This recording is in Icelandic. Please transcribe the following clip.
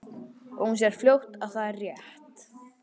Og hún sér fljótt að það er rétt.